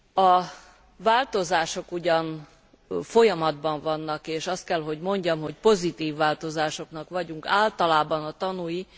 A változások ugyan folyamatban vannak, és azt kell, hogy mondjam, hogy pozitív változásoknak vagyunk általában tanúi.